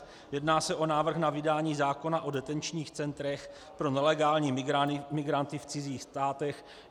Jedná se o návrh na vydání zákona o detenčních centrech pro nelegální migranty v cizích státech.